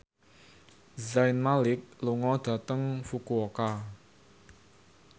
Zayn Malik lunga dhateng Fukuoka